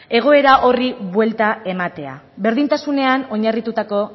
egoera horri buelta ematea berdintasunean oinarritutako